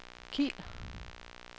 Kiel